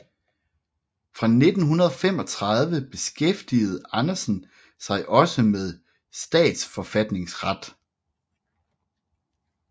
Fra 1935 beskæftigede Andersen sig også med statsforfatningsret